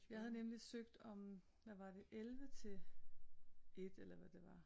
Jeg havde nemlig søgt om hvad var det 11 til 1 eller hvad det var